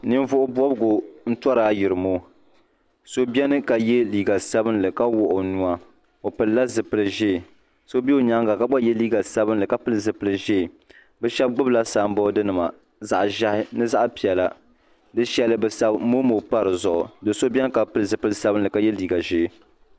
ninvuɣ' bɔbigu n-tɔri ayorimɔso beni ka ye liiga sabinli ka wuɣi o nuu a o pilila zupil' ʒee so be o nyaaga ka gba ye liiga sabinli ka pili zupil' ʒee bɛ shɛba gbubi la samboori nima zaɣ' ʒɛhi ni zaɣ' piɛla shɛli bɛ sabi momo m-pa di zuɣu do' so beni ka pili zupil' sabinli ka ye liiga ʒee.